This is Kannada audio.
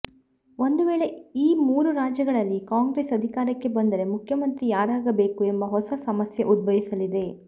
ಒಂದು ವೇಳೆ ಈ ಮೂರು ರಾಜ್ಯಗಳಲ್ಲಿ ಕಾಂಗ್ರೆಸ್ ಅಧಿಕಾರಕ್ಕೆ ಬಂದರೆ ಮುಖ್ಯಮಂತ್ರಿ ಯಾರಾಗಬೇಕು ಎಂಬ ಹೊಸ ಸಮಸ್ಯೆ ಉದ್ಭವಿಸಲಿದೆ